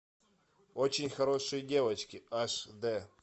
очень хорошие девочки аш де